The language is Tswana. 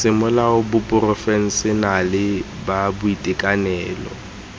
semolao tsa baporofešenale ba boitekanelo